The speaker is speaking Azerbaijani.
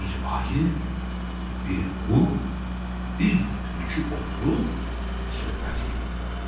Bir ayı, bir qurd, bir də tülkü oturub söhbət eləyirlər.